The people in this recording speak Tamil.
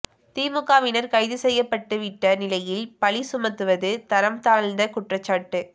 திமுகவினர் கைது செய்யப்பட்டுவிட்ட நிலையில் பழி சுமத்துவது தரம் தாழ்ந்த குற்றச்சாட்டு